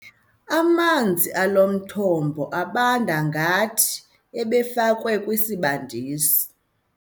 Amanzi alo mthombo abanda ngathi ebefakwe kwisibandisi.